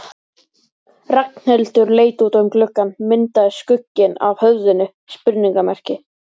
Ragnhildur leit út um gluggann myndaði skugginn af höfðinu spurningarmerki.